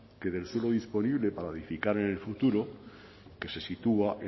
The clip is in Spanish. que del suelo disponible para edificar en el futuro que se sitúa